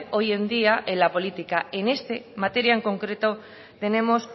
hoy en día en la política en esta materia en concreto tenemos